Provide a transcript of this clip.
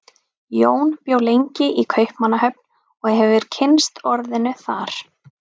Jón bjó lengi í Kaupmannahöfn og hefur kynnst orðinu þar.